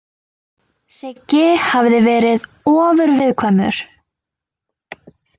Siggi hafði verið ofurviðkvæmur.